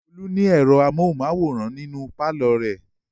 Olú ní ẹ̀rọ amóhùmáwòhán nínú pálọ̀ rẹ̀.